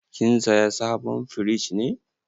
Kin saya sabon firij ne?